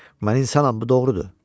Mən insanam, bu doğrudur.